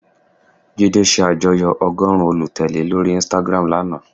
Jídé se àjoyọ́ ọgọ́rùn-ún olùtèlé lórí Instagram lana